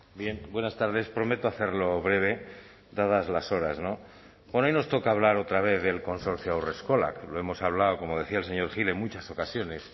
bien buenas tardes prometo hacerlo breve dadas las horas no bueno hoy nos toca hablar otra vez del consorcio haurreskolak lo hemos hablado como decía el señor gil en muchas ocasiones